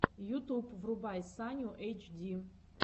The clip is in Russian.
ютуб врубай саню эйчди